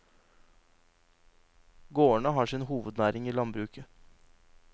Gårdene har sin hovednæring i landbruket.